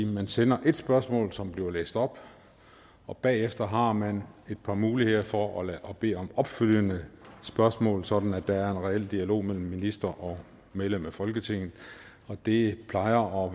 man sender ét spørgsmål som bliver læst op og bagefter har man et par muligheder for at bede om opfølgende spørgsmål sådan at der er en reel dialog mellem minister og medlem af folketinget det plejer